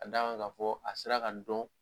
ka d'a kan ka fɔ a sera ka dɔn.